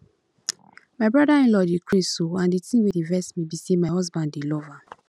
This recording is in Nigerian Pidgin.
my brother inlaw dey craze oo and the thing wey dey vex me be say my husband dey love am